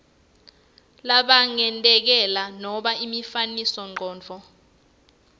langaketayeleki nobe imifanekisomcondvo